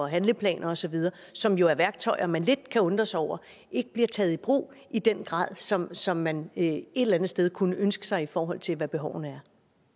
handleplaner osv som jo er værktøjer man lidt kan undre sig over ikke bliver taget i brug i den grad som som man et eller andet sted kunne ønske sig i forhold til hvad behovene